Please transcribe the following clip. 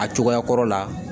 A cogoya kɔrɔ la